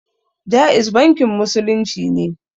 Jaiz bankin musulunci ne